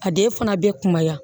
A den fana bɛ kumaya